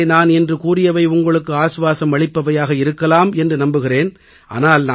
ஒருவேளை நான் இன்று கூறியவை உங்களுக்கு இளைப்பாறுதல் அளிப்பவையாக இருக்கலாம் என்று நம்புகிறேன்